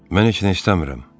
Mən heç nə istəmirəm.